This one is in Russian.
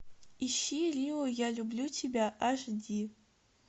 ищи рио я люблю тебя аш ди